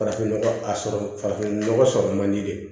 Farafin nɔgɔ a sɔrɔ farafin nɔgɔ sɔrɔ man di dɛ